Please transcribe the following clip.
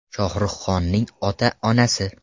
Shohruh Xonning ota-onasi.